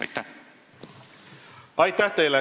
Aitäh teile!